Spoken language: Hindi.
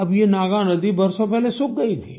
अब ये नागानधी बरसों पहले सूख गई थी